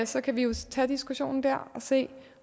så kan vi jo tage diskussionen dér og se